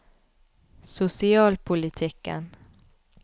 sosialpolitikken